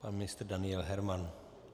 Pan ministr Daniel Herman.